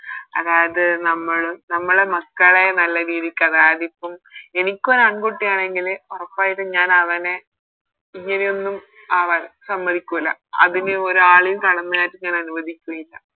അതായത് നമ്മള് നമ്മളെ മക്കളെ നല്ല രീതിക്ക് അതായതിപ്പോ എനിക്കൊരു ആൺകുട്ടി ആണെങ്കില് ഒറപ്പായിട്ടും ഞാനവനെ ഇങ്ങനെ ഒന്നും ആവാൻ സമ്മതിക്കൂല അതിന് ഒരാളെയും കടന്നു കയറാൻ ഞാൻ അനുവദിക്കെ ഇല്ല